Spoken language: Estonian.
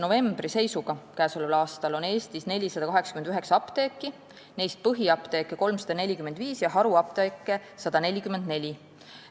Käesoleva aasta 1. novembri seisuga on Eestis 489 apteeki, neist põhiapteeke 345 ja haruapteeke 144.